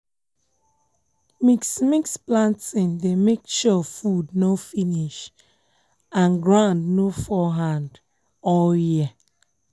mix-mix planting dey make sure food nor finish and ground nor fall hand all year.